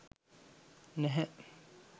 නැහැ